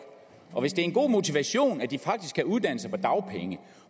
og hvis det er en god motivation at de faktisk kan uddanne sig på dagpenge